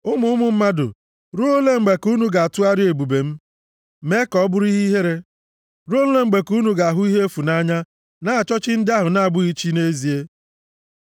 Unu ụmụ mmadụ, ruo ole mgbe ka unu ga-atụgharịa ebube m, mee ka ọ bụrụ ihe ihere? Ruo ole mgbe ka unu ga-ahụ ihe efu nʼanya na-achọ chi ndị ahụ na-abụghị chi nʼezie? + 4:2 Nke unu maara na ha bụ okwu ụgha Sela